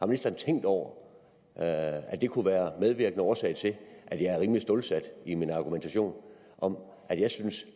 ministeren tænkt over at det kunne være medvirkende årsag til at jeg er rimelig stålsat i min argumentation om at jeg synes